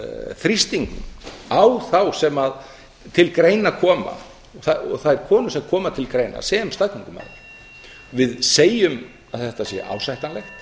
þrýstingnum á þá sem til greina koma og þær konur sem koma til greina sem staðgöngumæður við segjum að þetta sé ásættanlegt